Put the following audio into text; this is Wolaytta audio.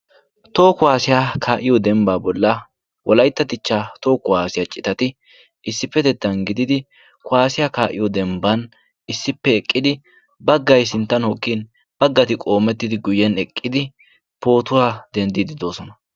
toho kuwaasiyaa kaa7iyo dembbaa bolla wolaitta dichcha toho kuwaasiyaa citati issippetettan gididi kuwaasiyaa kaa77iyo dembban issippe eqqidi baggai sinttan hoqkin baggati qoomettidi guyyen eqqidi pootuwaa denddii didoosona.